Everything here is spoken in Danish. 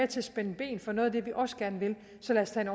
til at spænde ben for noget af det vi også gerne vil så lad os tage